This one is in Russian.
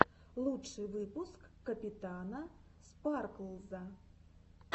лучший выпуск капитана спарклза